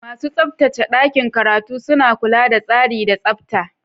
Masu tsabtace ɗakin karatu suna kula da tsari da tsabta.